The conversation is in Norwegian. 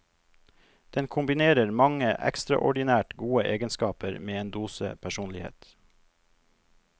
Den kombinerer mange ekstraordinært gode egenskaper med en dose personlighet.